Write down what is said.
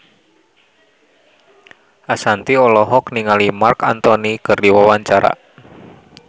Ashanti olohok ningali Marc Anthony keur diwawancara